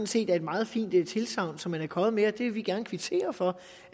set er et meget fint tilsagn som man er kommet med og vi vil gerne kvittere for